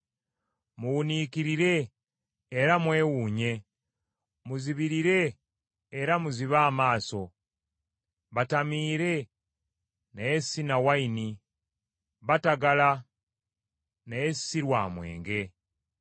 Muwuniikirire era mwewuunye Muzibirire era muzibe amaaso; Batamiire, naye si na nvinnyo, batagala, naye si lwa mwenge.